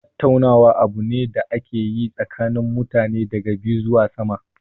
Tattaunawa abu ne da ake yi tsakanin mutane daga biyu zuwa sama.